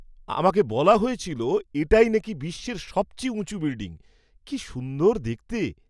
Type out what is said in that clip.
আমাকে বলা হয়েছিল এটাই নাকি বিশ্বের সবচেয়ে উঁচু বিল্ডিং। কি সুন্দর দেখতে!